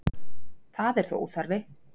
Það er þó óþarfi